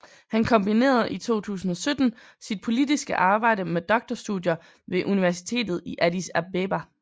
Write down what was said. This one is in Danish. Han kombinerede i 2017 sit politiske arbejde med doktorstudier ved Universitetet i Addis Abeba